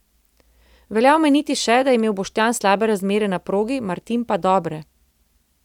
Velja omeniti še, da je imel Boštjan slabe razmere na progi, Martin pa dobre.